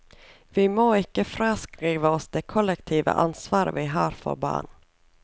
Vi må ikke fraskrive oss det kollektive ansvar vi har for barn.